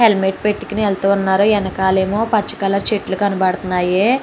Helmet పెట్టుకుని వెళ్తూ ఉన్నారు ఎనకాలేమో పచ్చ కలర్ చెట్లు కనబడుతున్నాయి.